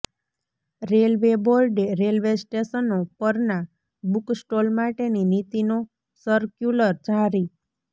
railway બોર્ડે railway સ્ટેશનો પરના બુક સ્ટોલ માટેની નીતિનો સરક્યુલર જારી